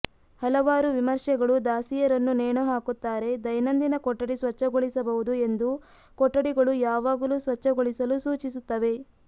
ಹಲವಾರು ವಿಮರ್ಶೆಗಳು ದಾಸಿಯರನ್ನು ನೇಣು ಹಾಕುತ್ತಾರೆ ದೈನಂದಿನ ಕೊಠಡಿ ಸ್ವಚ್ಛಗೊಳಿಸಬಹುದು ಎಂದು ಕೊಠಡಿಗಳು ಯಾವಾಗಲೂ ಸ್ವಚ್ಛಗೊಳಿಸಲು ಸೂಚಿಸುತ್ತವೆ